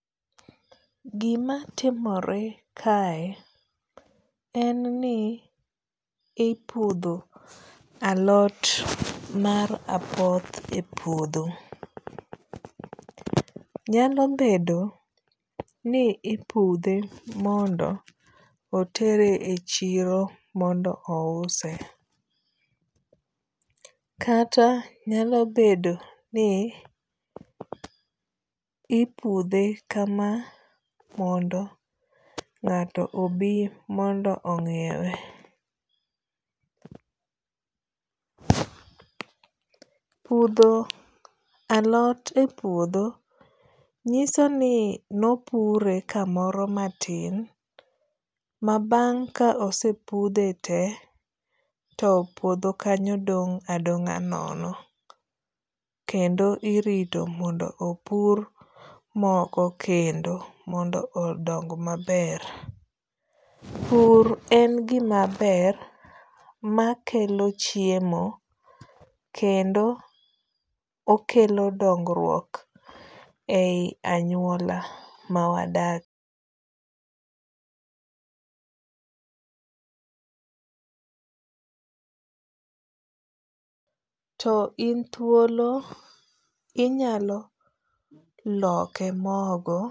Gima timore kae en ni ipudho alot mar apoth e puodho. Nyalo bedo ni ipudhe mondo otere e chiro mondo ouse. Kata nyalo bedo ni ipudhe kama mondo ng'ato obi mondo ong'iewe. Pudho alot e puodho nyiso ni nopure kamoro matin ma bang' ka osepudhe te to puodho kanyo dong' adong'a nono. Kendo irito mondo opur moko kendo mondo odong maber. Pur en gimaber makelo chiemo kendo okelo dongruok ei anyuola ma wadakie. to in thuolo inyalo loke mogo.